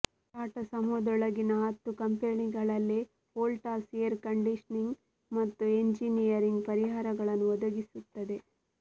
ಟಾಟಾ ಸಮೂಹದೊಳಗಿನ ಹತ್ತು ಕಂಪನಿಗಳಲ್ಲಿ ವೋಲ್ಟಾಸ್ ಏರ್ ಕಂಡೀಷನಿಂಗ್ ಮತ್ತು ಎಂಜಿನಿಯರಿಂಗ್ ಪರಿಹಾರಗಳನ್ನು ಒದಗಿಸುತ್ತದೆ